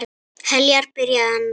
Heljar, byrjaði hann.